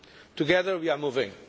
Together we are moving.